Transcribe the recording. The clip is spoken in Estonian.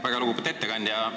Väga lugupeetud ettekandja!